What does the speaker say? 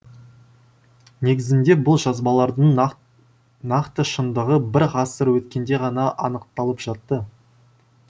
негізінде бұл жазбалардың нақты шындығы бір ғасыр өткенде ғана анықталып жатты